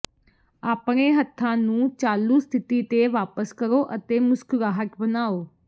ਆਪਣੇ ਹੱਥਾਂ ਨੂੰ ਚਾਲੂ ਸਥਿਤੀ ਤੇ ਵਾਪਸ ਕਰੋ ਅਤੇ ਮੁਸਕਰਾਹਟ ਬਣਾਓ